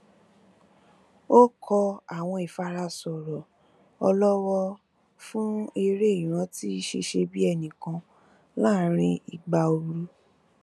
ó kọ àwọn ìfara sọrọ ọlọwọ fún eré ìrántí ṣíṣebíẹnìkan láàrin ìgbà ooru